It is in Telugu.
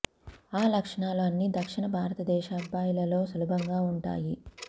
ఆ లక్షణాలు అన్ని దక్షిణ భారత దేశ అబ్బాయిలలో సులభంగా ఉంటాయి